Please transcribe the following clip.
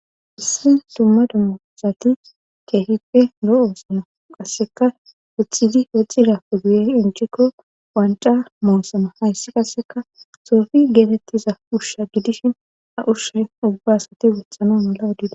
issi dumma dumma asati keehiphe lo7ooosana qasseka wexxidi wexxida puduyei inchikko waanca moosama hayssi qasseka soofi geetettiza ushsha gidishin a ushshay ubba asati woxxana mala wudida